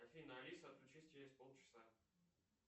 афина алиса включись через полчаса